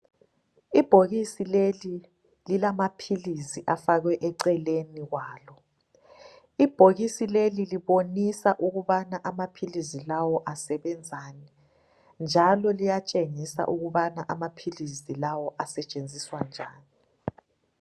Ibhokisi leli lilamaphilisi afakwe eceleni kwalo. Ibhokisi leli libonisa ukubana amaphilisi lawo asebenzani njalo liyatshengisa ukubana amaphilisi lawo asetshenziswa njani